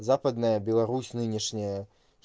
западная беларусь нынешняя